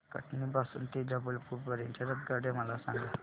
कटनी पासून ते जबलपूर पर्यंत च्या आगगाड्या मला सांगा